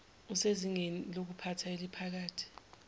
usezingeni lokuphatha eliphakathi